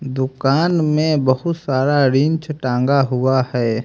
दुकान में बहुत सारा रिंच टंगा हुआ है।